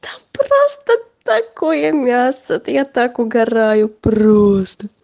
там просто такое мясо я так угараю просто